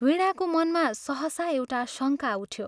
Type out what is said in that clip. वीणाको मनमा सहसा एउटा शङ्का उठ्यो।